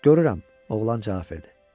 Görürəm, oğlan istaf etdi.